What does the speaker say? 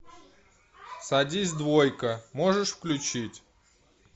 садись двойка можешь включить